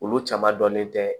Olu caman dɔnnen tɛ